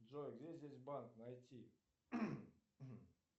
джой где здесь банк найти